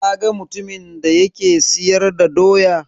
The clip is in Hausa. Ka ga mutumin da yake siyar da Doya?